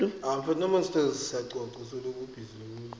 phoulo ya borwa ya maknete